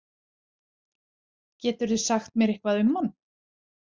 Geturðu sagt mér eitthvað um hann?